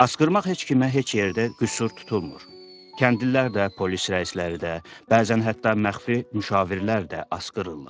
Asqırmaq heç kimə heç yerdə qüsur tutulmur, kəndlilər də, polis rəisləri də, bəzən hətta məxfi müşavirlər də asqırırlar.